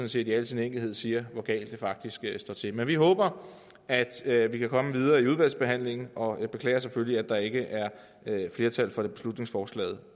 set i al sin enkelhed siger hvor galt det faktisk står til men vi håber at vi kan komme videre i udvalgsbehandlingen og jeg beklager selvfølgelig at der ikke er flertal for beslutningsforslaget